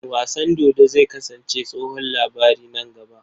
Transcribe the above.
Wasan dodo zai kasance tsohon labari nan gaba.